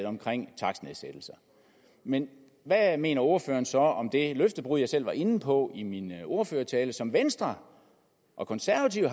omkring takstnedsættelser men hvad mener ordføreren så om det løftebrud som jeg selv var inde på i min ordførertale som venstre og konservative